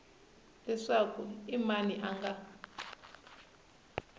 leswaku i mani a nga